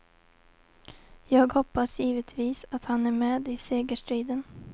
Jag hoppas givetvis att han är med i segerstriden.